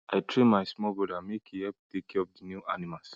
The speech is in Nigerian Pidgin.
i train my small brother make e help take care of the new animals